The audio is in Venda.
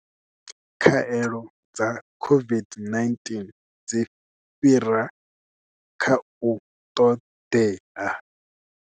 Khaelo dza COVID-19 dzi fhira kha u ṱoḓea.